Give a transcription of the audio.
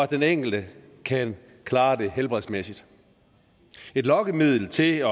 den enkelte kan klare det helbredsmæssigt et lokkemiddel til at